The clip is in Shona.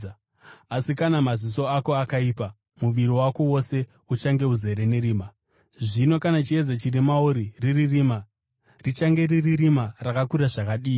Asi kana maziso ako akaipa muviri wako wose uchange uzere nerima. Zvino kana chiedza chiri mauri riri rima, richange riri rima rakakura zvakadii!